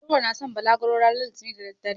Nura na san balagro ranar litinin da daddare.